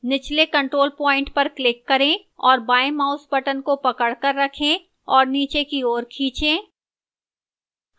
निचले control point पर click करें और बाएं mouse button को पकड़कर रखें और इसे नीचे की ओर खींचें